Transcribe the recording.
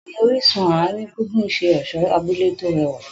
Bẹ́ẹ̀ni, orísun àárín gbùngbùn ṣe ọ̀ṣọ́ abúlé tó rẹwà.